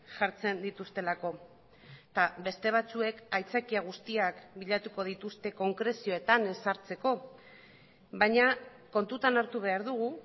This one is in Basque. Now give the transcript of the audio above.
jartzen dituztelako eta beste batzuek aitzakia guztiak bilatuko dituzte konkrezioetan ez sartzeko baina kontutan hartu behar dugu